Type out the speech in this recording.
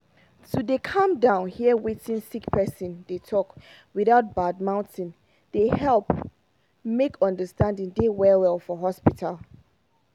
to dey calm down hear wetin sick person dey talk without bad mouthing dem dey help make understanding dey well well for hospital